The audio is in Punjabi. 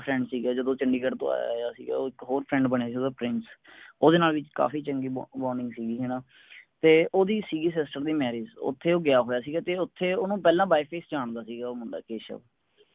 ਦਾ friend ਸੀਗਾ ਜਦੋਂ ਊ ਚੰਡੀਗੜ੍ਹ ਤੋਂ ਆਯਾ ਆਯਾ ਸੀਗਾ ਇਕ ਹੋਰ friend ਬਣਿਆ ਸੀਗਾ ਓਹਦਾ ਪ੍ਰਿੰਸ ਓਹਦੇ ਨਾਲ ਵੀ ਕਾਫੀ ਚੰਗੀ bonding ਸੀਗੀ ਹੈਨਾ ਤੇ ਓਹਦੀ ਸੀਗੀ sister ਦੀ marriage ਓਥੇ ਉਹ ਗਯਾ ਹੋਇਆ ਸਿਗਾ ਤੇ ਓਥੇ ਓਹਨੂੰ ਪਹਿਲਾ by face ਜਾਨਦਾ ਸੀਗਾ ਉਹ ਮੁੰਡਾ ਕੇਸ਼ਵ